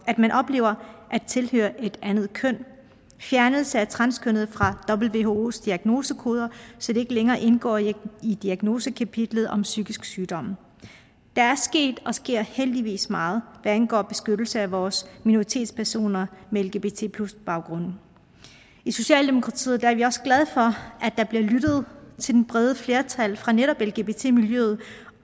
at man oplever at tilhøre et andet køn fjernelse af transkønnede fra whos diagnosekoder så de ikke længere indgår i diagnosekapitlet om psykisk sygdom der er sket og sker heldigvis meget hvad angår beskyttelse af vores minoritetspersoner med lgbt baggrund i socialdemokratiet er vi også glade for at der bliver lyttet til det brede flertal fra netop lgbt miljøet